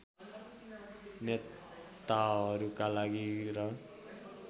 नेताहरूका लागि र